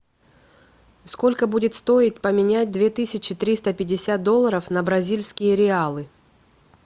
сколько будет стоить поменять две тысячи триста пятьдесят долларов на бразильские реалы